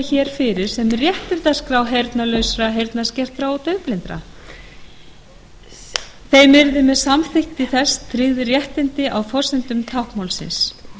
hér fyrir sem réttindaskrá heyrnarlausra heyrnarskertra og daufblindra þeim yrðu með samþykkt þess tryggð réttindi á forsendum táknmálsins